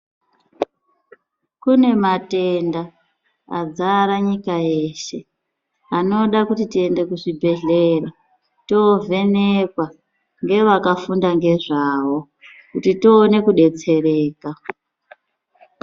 Kune matenda adzara nyika yeshe anoda kuti tiende kuzvibhehlera tovhenekwa ngevakafunda ngezvawo kuti tione kudetsereka.